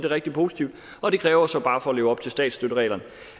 rigtig positivt og det kræver så bare for at leve op til statsstøttereglerne